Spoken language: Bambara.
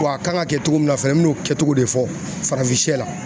W'a kan ka kɛ cogo min na fɛnɛ n mi n'o kɛ cogo de fɔ farafin sɛ la